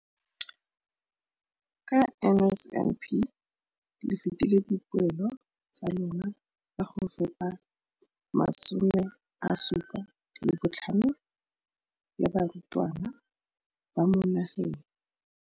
Ka NSNP le fetile dipeelo tsa lona tsa go fepa masome a supa le botlhano a diperesente ya barutwana ba mo nageng.